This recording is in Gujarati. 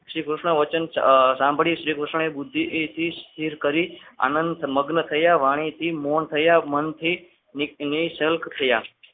શ્રી કૃષ્ણ વચન સાંભળી કૃષ્ણ બુદ્ધિથી સ્થિર કરી આનંદમગ્ન થયા વાણીથી મોહન થયા મનથી નીલ્પ થયા.